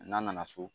N'an nana so